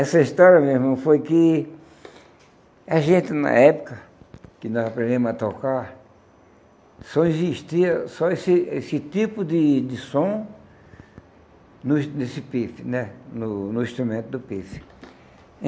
Essa história, meu irmão, foi que a gente, na época que nós aprendemos a tocar, só existia só esse esse tipo de de som no nesse pife né, no no instrumento do pife.